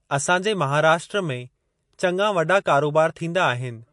असां जे महाराष्ट्र में चंङा वॾा कारोबार थींदा आहिनि।